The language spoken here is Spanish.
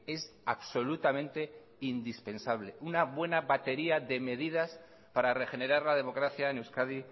es absolutamente indispensable una buena batería de medidas para regenerar la democracia en euskadi